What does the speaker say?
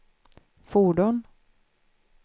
fordon